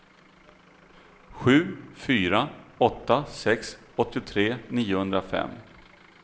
sju fyra åtta sex åttiotre niohundrafem